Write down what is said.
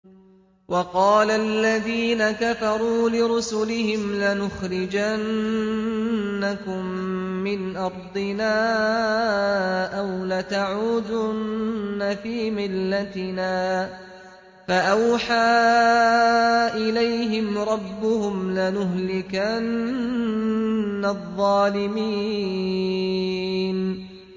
وَقَالَ الَّذِينَ كَفَرُوا لِرُسُلِهِمْ لَنُخْرِجَنَّكُم مِّنْ أَرْضِنَا أَوْ لَتَعُودُنَّ فِي مِلَّتِنَا ۖ فَأَوْحَىٰ إِلَيْهِمْ رَبُّهُمْ لَنُهْلِكَنَّ الظَّالِمِينَ